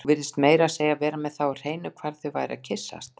Þú virtist meira að segja vera með það á hreinu hvar þau væru að kyssast